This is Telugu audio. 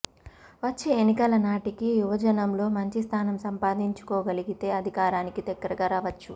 వచ్చే ఎన్నికల నాటికి యువజనంలో మంచి స్థానం సంపాదించుకోగలిగితే అధికారానికి దగ్గరగా రావచ్చు